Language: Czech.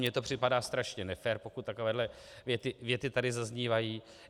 Mně to připadá strašně nefér, pokud takovéhle věty tady zaznívají.